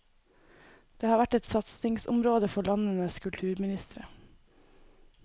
Det har vært et satsingsområde for landenes kulturministre.